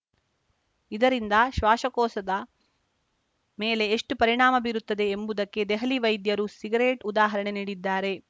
ಇದರಿಂದ ಶ್ವಾಶಕೋಸದ ಮೇಲೆ ಎಷ್ಟುಪರಿಣಾಮ ಬೀರುತ್ತದೆ ಎಂಬುದಕ್ಕೆ ದೆಹಲಿ ವೈದ್ಯರು ಸಿಗರೆಟ್‌ ಉದಾಹರಣೆ ನೀಡಿದ್ದಾರೆ